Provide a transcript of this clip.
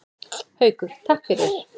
Haukur: Takk fyrir.